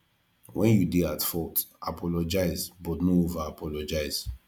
when you dey at fault apologize but no over apologize